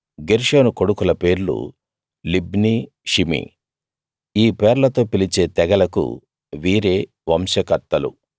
గెర్షోను కొడుకుల పేర్లు Libni Shimei ఈ పేర్లతో పిలిచే తెగలకు వీరే వంశకర్తలు